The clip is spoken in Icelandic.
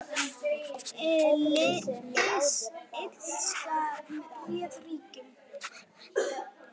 Illska réð ríkjum.